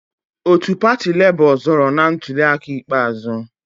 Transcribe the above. Otu pati Labour zọọrọ na ntuliaka ikpeazụ.